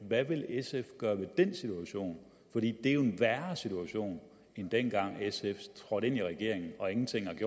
hvad vil sf gøre ved den situation for det er jo en værre situation end dengang sf trådte ind i regeringen og ingenting i